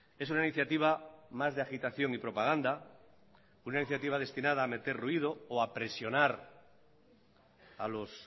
es una iniciativa más de agitación y propaganda una iniciativa destinada a meter ruido o a presionar a los